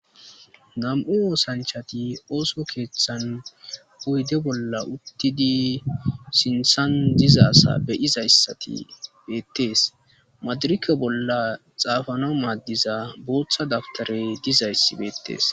Nam''u oththanichati oththo keththanni oyide bolla uttidi sinththanni diza asa be'izayissati betees madirekkw bolla xafanawu madiza boththa dabitareyi dizayiss betees.